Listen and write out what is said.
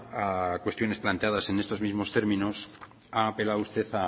a cuestiones planteadas en estos mismos términos ha apelado usted